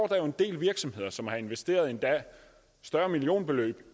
der jo en del virksomheder som har investeret endda større millionbeløb